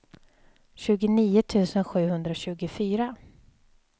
tjugonio tusen sjuhundratjugofyra